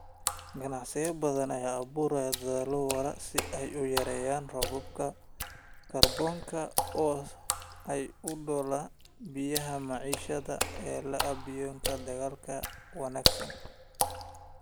Ganacsiyo badan ayaa abuuraya dadaallo waara si ay u yareeyaan raadkooda kaarboonka oo ay u daboolaan baahida macaamiisha ee alaabooyinka deegaanka u wanaagsan.